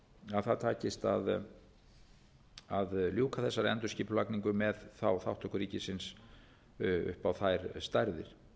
að það takist að ljúka þessari endurskipulagning með þátttöku ríkisins upp á þær stærðir